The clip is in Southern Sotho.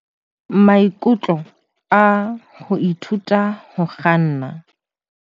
sense tsa ho ithuta ho kganna.